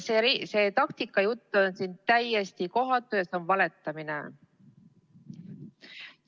See taktika jutt on täiesti kohatu ja see on valetamine.